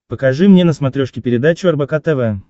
покажи мне на смотрешке передачу рбк тв